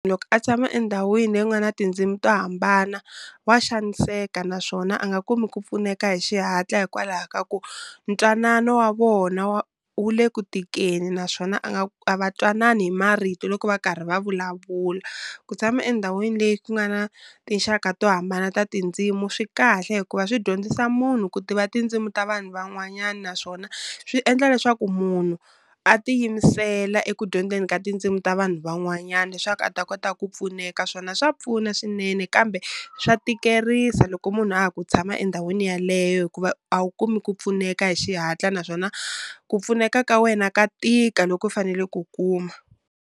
Loko a tshama endhawini leyi ku nga na tindzimi to hambana, wa xaniseka naswona a nga kumi ku pfuneka hi xihatla hikwalaho ka ku ntwanano wa vona wu le ku tikeni, naswona a nga a va twanani hi marito loko va karhi va vulavula. Ku tshama endhawini leyi ku nga na tinxaka to hambana ta tindzimu swi kahle hikuva swi dyondzisa munhu ku tiva tindzimu ta vanhu van'wanyani, naswona swi endla leswaku munhu a tiyimisela eku dyondzeni ka tindzimu ta vanhu van'wanyani leswaku a ta kota ku pfuneka swona swa pfuna swinene kambe swa tikerisa loko munhu a ha ku tshama endhawini yeleyo hikuva a wu kumi ku pfuneka hi xihatla naswona ku pfuneka ka wena ka tika loko fanele ku kuma.